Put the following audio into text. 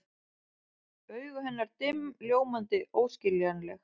Augu hennar dimm, ljómandi, óskiljanleg.